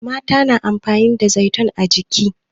mata suna amfani da zaitun a jiki